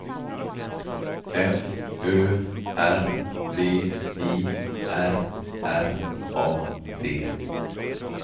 F Ö R V I R R A D